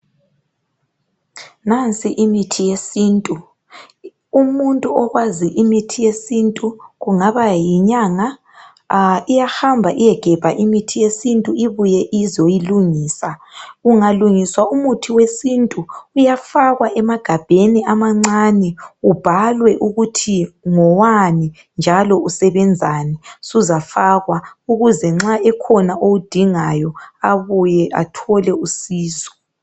Nansi imithi yesintu umuntu okwazi imithi yesimtu iyahamba iyegebha umuthi wesintu ibuye izowulungisa ungalungiswa umuthi wesintu uyafakwa emagabheni amancani ubhalwe ukuthi ngowani njalo usebenzani suzafakwa ukuthi nxa kukhona owudingayo abuye athole usizo